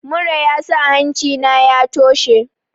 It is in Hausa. Mura yasa hancina ya toshe.